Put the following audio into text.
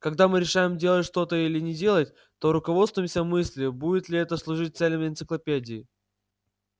когда мы решаем делать что-то или не делать то руководствуемся мыслью будет ли это служить целям энциклопедии